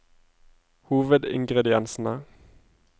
hovedingrediensene